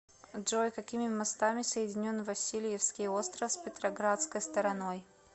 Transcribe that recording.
джой какими мостами соединен васильевский остров с петроградской стороной